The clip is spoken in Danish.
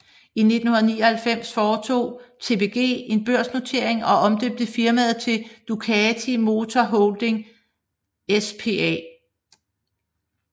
I 1999 foretog TPG en børsnotering og omdøbte firmaet til Ducati Motor Holding SpA